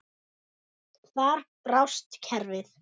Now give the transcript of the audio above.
Þar brást kerfið.